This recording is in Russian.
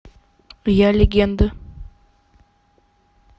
я легенда